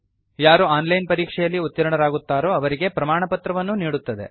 ಯಾರು online ಪರೀಕ್ಷೆಯಲ್ಲಿ ಉತ್ತೀರ್ಣರಾಗುತ್ತಾರೋ ಅವರಿಗೆ ಪ್ರಮಾಣಪತ್ರವನ್ನೂ ನೀಡುತ್ತದೆ